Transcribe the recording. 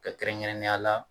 Ka kɛrɛnkɛrɛnnenya la